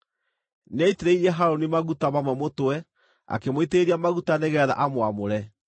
Nĩaitĩrĩirie Harũni maguta mamwe mũtwe akĩmũitĩrĩria maguta nĩgeetha amwamũre.